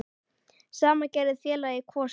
Sama gerði félagið Kvosin.